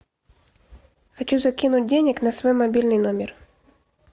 хочу закинуть денег на свой мобильный номер